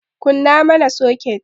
Kunna mana soket!